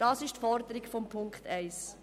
Das ist die Forderung von Ziffer 1.